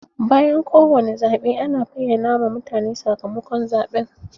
Bayan kowane zaɓe ana bayyana ma mutane sakamakon zaɓen